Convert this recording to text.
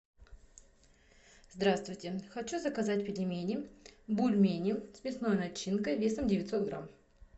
здравствуйте хочу заказать пельмени бульмени с мясной начинкой весом девятьсот грамм